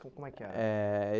Como como é que era? Eh